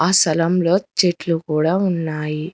ఆ స్థలంలో చెట్లు కూడా ఉన్నాయి.